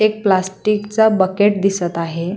एक प्लास्टिक चा बकेट दिसत आहे.